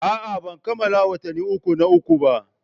A'a, ban kammala watanni uku na uku ba.